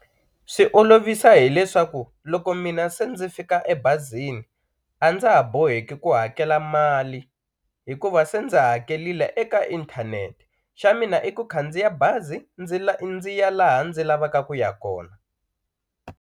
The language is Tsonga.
Swi olovisa hileswaku loko mina se ndzi fika ebazini a ndza ha boheki ku hakela mali hikuva se ndzi hakelile eka inthanete xa mina i ku khandziya bazi ndzi ya laha ndzi lavaka ku ya kona.